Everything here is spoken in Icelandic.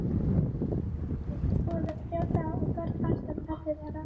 Það tók yfirleitt tvo eða þrjá daga og varð alltaf erfiðara.